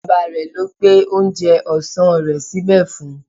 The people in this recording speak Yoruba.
Bàbá rẹ̀ ló gbé oúnjẹ ọ̀sán rẹ̀ síbẹ̀ fún un